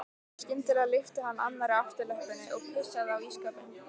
Skyndilega lyfti hann annarri afturlöppinni og pissaði á ísskápinn.